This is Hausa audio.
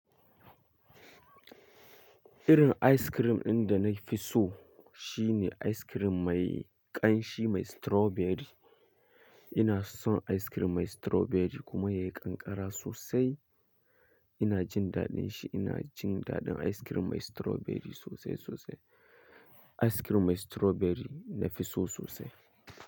Irin ice cream ɗin da na fi so shine ice cream mai ƙanshi mai strawberry. Ina son ice cream mai strawberry kuma yayi ƙanƙara sosai. Ina jin daɗin shi. Ina jin daɗin ice cream mai strawberry sosai sosai. Ice cream mai strawberry nafi so sosai.